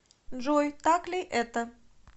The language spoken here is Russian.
джой так ли это